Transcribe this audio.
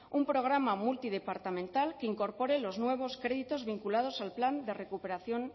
un programa multidepartamental que incorpore los nuevos créditos vinculados al plan de recuperación